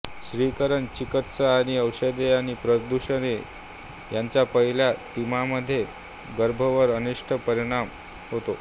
क्षकिरण चिकित्सा काहीं औषधे आणि प्रदूषके यांचा पहिल्या तिमाहीमध्ये गर्भावर अनिष्ट परिणाम होतो